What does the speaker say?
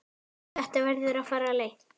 Þetta verður að fara leynt!